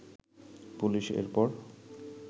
police এর পর